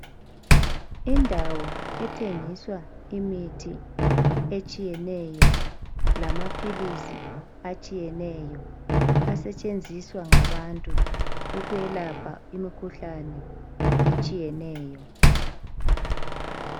Indawo ethengiswa imithi etshiyeneyo lamaphilisi atshiyeneyo asetshenziswa ngabantu ukwelapha imikhuhlane etshiyeneyo